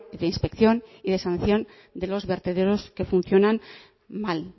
de inspección y de sanción de los vertederos que funcionan mal